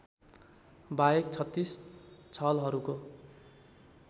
बाहेक ३६ छलहरूको